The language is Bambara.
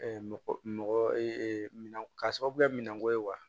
mɔgɔ mɔgɔ ee minan ka sababu kɛ minɛnko ye wa